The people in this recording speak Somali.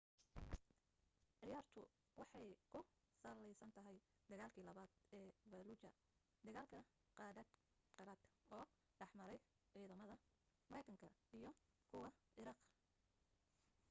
ciyaartu waxay ku sallaysan tahay dagaalkii labaad ee falluuja dagaal qadhaadh oo dhexmaray ciidamada maraykanka iyo kuwa ciraaq